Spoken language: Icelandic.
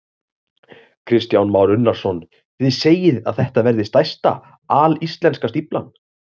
Kristján Már Unnarsson: Þið segið að þetta verði stærsta alíslenska stíflan?